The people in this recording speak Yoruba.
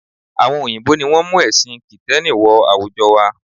Àwọn òyìnbó ni wọ́n mú ẹ̀sìn kìtẹ́nì wọ àwùjọ wa